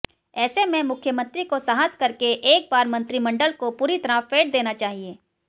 ऐसे में मुख्यमंत्री को साहस करके एक बार मंत्रिमंडल को पूरी तरह फेंट देना चाहिए